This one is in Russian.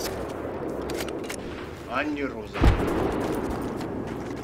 анне розовой